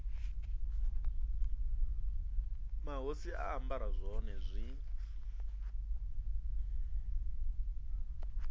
mahosi a ambara zwone zwi